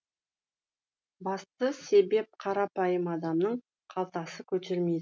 басты себеп қарапайым адамның қалтасы көтермейді